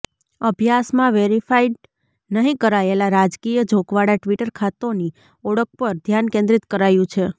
અભ્યાસમાં વેરિફાઇડ નહિ કરાયેલા રાજકીય ઝોંકવાળા ટ્વિટર ખાતોની ઓળખ પર ધ્યાન કેન્દ્રિત કરાયું છે